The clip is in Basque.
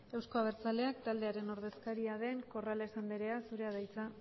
euzko abertzaleak taldearen ordezkaria den corrales anderea zurea da hitza